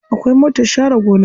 Akwai motar share gona.